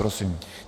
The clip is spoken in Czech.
Prosím.